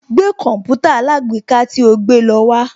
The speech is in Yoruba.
Gbé Kọ̀mpútà alágbèéká tí o gbé lọ wá